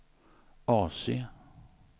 AC